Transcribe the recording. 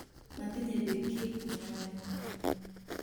Matinye biik ki ne ame